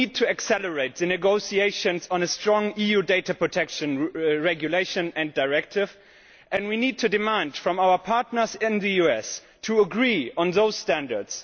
We need to accelerate the negotiations on a strong EU data protection regulation and directive and we need to demand from our partners in the US to agree on those standards.